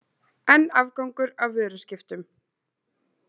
Enn afgangur af vöruskiptum